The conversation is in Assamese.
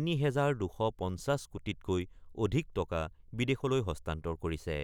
৩ হেজাৰ ২৫০ কোটিতকৈ অধিক টকা বিদেশলৈ হস্তান্তৰ কৰিছে।